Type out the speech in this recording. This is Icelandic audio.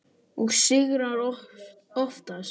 Og sigrar oftast.